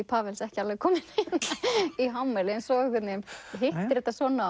Pawel ekki alveg kominn í hámæli en svo einhvern veginn hittir þetta svona